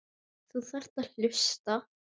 Þú þarft að hlusta.